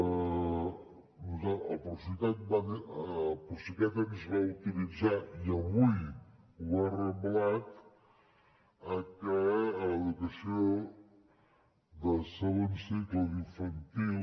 el procicat ens va autoritzar i avui ho ha reblat que a l’educació de segon cicle d’infantil